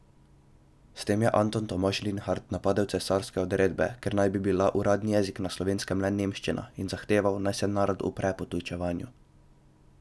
S tem je Anton Tomaž Linhart napadel cesarske odredbe, ker naj bi bila uradni jezik na Slovenskem le nemščina, in zahteval, naj se narod upre potujčevanju.